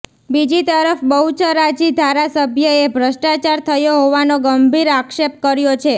બીજી તરફ બહુચરાજી ધારાસભ્યએ ભ્રષ્ટચાર થયો હોવાનો ગંભીર આક્ષેપ કર્યો છે